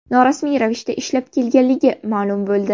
norasmiy ravishda ishlab kelganligi ma’lum bo‘ldi.